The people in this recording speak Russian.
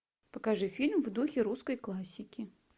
покажи фильм в духе русской классики